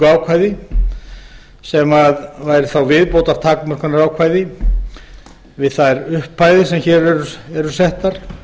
ákvæði sem væri þá viðbótartakmörkunarákvæði við þær upphæðir sem hér eru settar